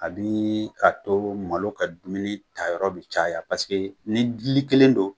A bi a to malo ka dumuni tayɔrɔ bi caya ni dili kelen don